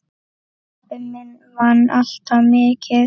Pabbi minn vann alltaf mikið.